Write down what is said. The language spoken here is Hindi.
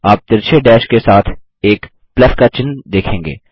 आप तिरछे डैश के साथ एक प्लस का चिन्ह देखेंगे